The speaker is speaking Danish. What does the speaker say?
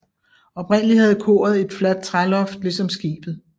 Oprindelig havde koret et fladt træloft ligesom skibet